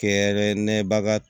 Kɛrɛnkɛrɛnneya baga